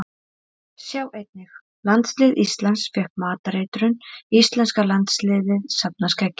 Sjá einnig: Landslið Íslands fékk matareitrun Íslenska landsliðið safnar skeggi